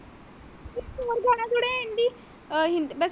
ਅਹ ਹਿੰਦੀ ਵੈਸੇ।